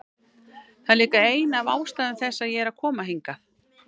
Það er líka ein af ástæðum þess að ég er að koma hingað.